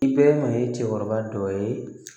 I bɛɛ ma ye cɛkɔrɔba dɔ ye